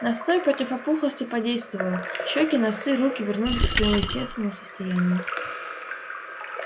настой против опухлости подействовал щёки носы руки вернулись к своему естественному состоянию